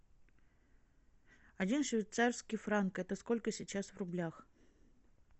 один швейцарский франк это сколько сейчас в рублях